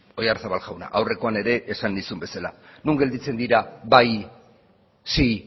oyarzabal jauna aurrekoan ere esan nizun bezala non gelditzen dira bai sí